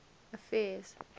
affairs